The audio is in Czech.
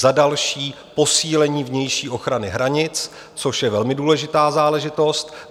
Za další posílení vnější ochrany hranic, což je velmi důležitá záležitost.